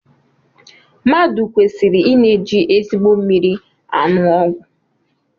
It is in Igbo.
Mmadụ kweriri I na-eji ezigbo mmiri anụ ọgwụ